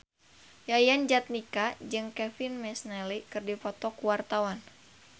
Yayan Jatnika jeung Kevin McNally keur dipoto ku wartawan